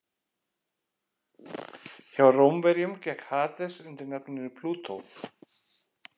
Hjá Rómverjum gekk Hades undir nafninu Plútó.